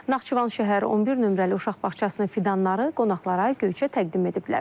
Naxçıvan şəhər 11 nömrəli uşaq bağçasının fidanları qonaqlara Göyçə təqdim ediblər.